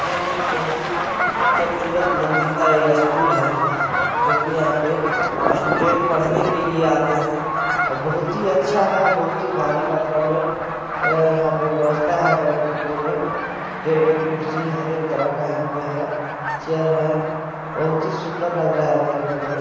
यहाँ एक बहुत ही खबसूरत मंदिर ई यह स्कूल है जोकि यहाँ पे स्टूडेंट्स पड़ने के लिए आते है और बहुत ही अच्छा है भारी मात्रा में अह यहाँ पे व्यवस्था है बैठने के लिए टेबल कुर्सी हरेक तरह का यहाँ पे है चेयर है बहुत ही सुन्दर लग रहा है देखने में--